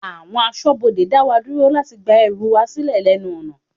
Àwọn aṣọbode dá wa dúró láti gba ẹrù wa silẹ lẹ́nu ọ̀nà.